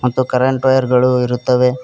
ಇದು current wire ಗಳು ಇರುತ್ತವೆ.